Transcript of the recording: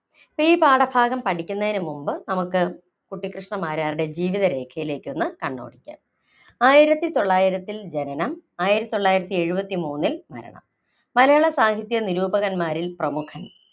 ഈ പാഠഭാഗം പഠിക്കുന്നതിന് മുൻപ് നമുക്ക് കുട്ടിക്കൃഷ്ണമാരാരുടെ ജീവിതരേഖയിലേക്കൊന്ന് കണ്ണോടിക്കാം. ആയിരത്തിതൊള്ളായിരത്തിൽ ജനനം ആയിരത്തിതൊള്ളായിരത്തിഎഴുപത്തിമൂന്നിൽ മരണം. മലയാള സാഹിത്യ നിരൂപകന്മാരിൽ പ്രമുഖൻ.